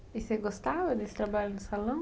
E você gostava desse trabalho no salão?